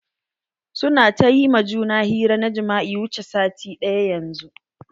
Su na ta ƴi ma juna hira na jima'i wuche sati ɗaya yanzun.